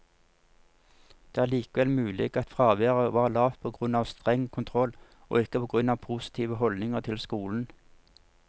Det er likevel mulig at fraværet var lavt på grunn av streng kontroll, og ikke på grunn av positive holdninger til skolen.